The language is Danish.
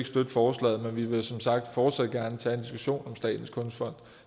støtte forslaget men vi vil som sagt fortsat gerne tage en diskussion om statens kunstfond